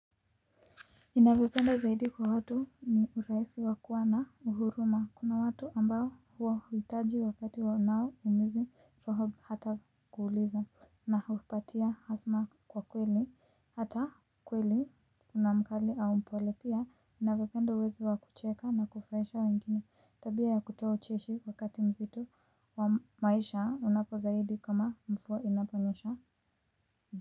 Ninalopenda zaidi kwa watu ni urahisi wa kuwa na huruma kuna watu ambao huwahitaji wakati wanaoumizi fahamu hata kuuliza na hupatia azma kwa kweli hata kweli kuna mkali au mpole pia unavyopenda uwezo wa kucheka na kufurahisha wengine tabia ya kutoa ucheshi wakati mzito wa maisha unapo zaidi kama mvua inaponyesha.